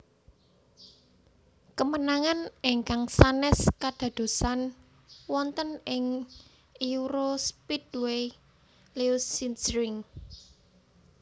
Kemenangan ingkang sanès kadadosan wonten ing EuroSpeedway Lausitzring